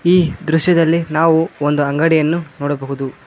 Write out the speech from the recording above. ಈ ದೃಶ್ಯದಲ್ಲಿ ನಾವು ಒಂದು ಅಂಗಡಿಯನ್ನು ನೋಡಬಹುದು.